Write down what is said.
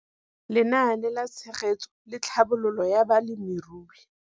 Lenaane la Tshegetso le Tlhabololo ya Balemirui.